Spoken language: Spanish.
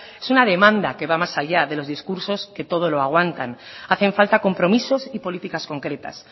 es una demanda que va más allá de los discursos que todo lo aguantan hacen falta compromisos y políticas concretas